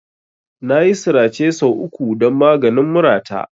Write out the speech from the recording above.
Nayi sirace sau uku don maganin murata.